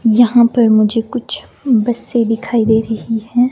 यहां पर मुझे कुछ बसे दिखाई दे रही है।